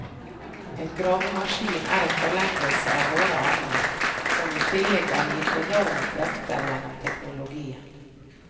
En gravemaskin er en forlengelse av våre armer, som i tillegg er gitt enorme krefter gjennom teknologien.